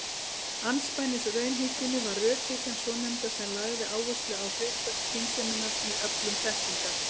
Andspænis raunhyggjunni var rökhyggjan svonefnda sem lagði áherslu á hlutverk skynseminnar í öflun þekkingar.